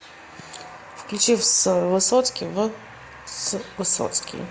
включи вс высоцкий в с высоцкий